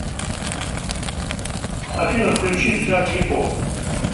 афина включи джаки о